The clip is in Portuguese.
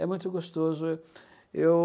É muito gostoso. Eu